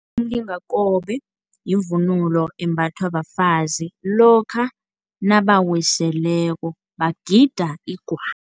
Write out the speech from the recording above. Umlingakobe yivunulo embathwa bafazi lokha nabawiseleko, bagida igwabo.